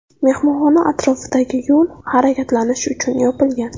Mehmonxona atrofidagi yo‘l harakatlanish uchun yopilgan.